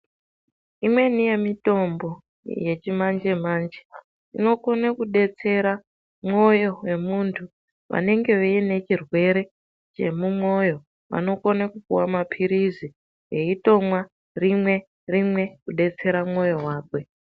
Imweni yemitombo yechimanje manje inokone kudetsera mwoyo wemunthu, vanenge vaine chirwere chemumwoyo vanokone kupuwa mapirizi veitomwa rimwe, rimwe kudetsera mwoyo wakwe.